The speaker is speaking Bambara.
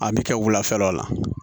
A bɛ kɛ wulafɛlaw la